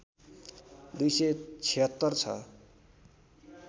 २७६ छ